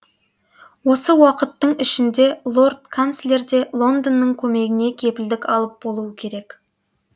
осы уақыттың ішінде лорд канцлер де лондонның көмегіне кепілдік алып болуы керек